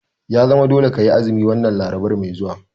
Ya zama dole kayi azumi wannan Larabar mai zuwa!